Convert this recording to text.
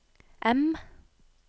M